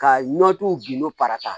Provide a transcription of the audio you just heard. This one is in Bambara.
Ka nɔnɔ t'u n'o parata